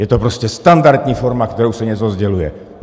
Je to prostě standardní forma, kterou se něco sděluje.